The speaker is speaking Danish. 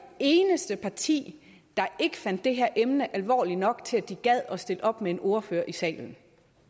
eneste parti der ikke fandt det her emne alvorligt nok til at de gad at stille op med en ordfører i salen